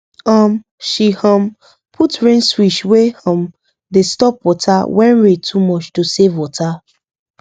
um she um put rain switch wey um dey stop water when rain too much to save water